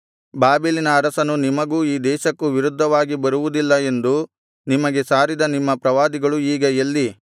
ಬಾಬೆಲಿನ ಅರಸನು ನಿಮಗೂ ಈ ದೇಶಕ್ಕೂ ವಿರುದ್ಧವಾಗಿ ಬರುವುದಿಲ್ಲ ಎಂದು ನಿಮಗೆ ಸಾರಿದ ನಿಮ್ಮ ಪ್ರವಾದಿಗಳು ಈಗ ಎಲ್ಲಿ